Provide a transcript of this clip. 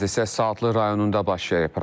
Hadisə Saatlı rayonunda baş verib.